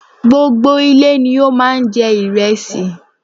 Gbogbo ilé ni ó má a n jẹ ìrẹsì